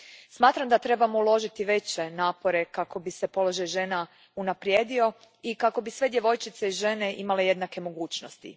Smatram da trebamo uložiti veće napore kako bi se položaj žena unaprijedio i kako bi sve djevojčice i žene imale jednake mogućnosti.